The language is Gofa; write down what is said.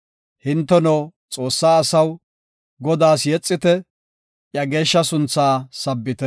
Hinteno Xoossaa asaw, Godaas yexite; iya geeshsha sunthaa sabbite.